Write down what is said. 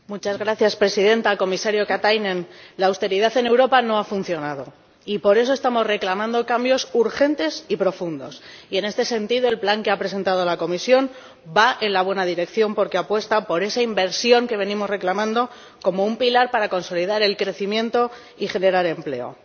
Señora Presidenta, Comisario Katainen, la austeridad en Europa no ha funcionado y por eso estamos reclamando cambios urgentes y profundos, y, en este sentido, el plan que ha presentado la Comisión va en la buena dirección porque apuesta por esa inversión que venimos reclamando, como un pilar para consolidar el crecimiento y generar empleo.